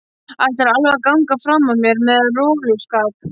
Ætlarðu alveg að ganga fram af mér með roluskap?